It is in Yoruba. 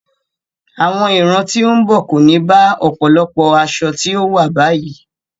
Àwọn ìran tí ó ń bọ̀ kò ní bá ọ̀pọ̀lọpọ̀ aṣọ tí ó wà báyìí.